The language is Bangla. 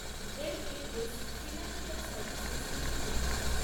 এমএএস ফিন্যান্সিয়াল সার্ভিসেস লিমিটেড